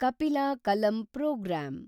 ಕಪಿಲಾ ಕಲಂ ಪ್ರೋಗ್ರಾಂ